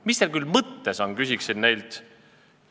"Mis teil küll mõttes on?" küsiksin neilt.